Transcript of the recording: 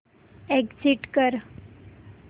exit कर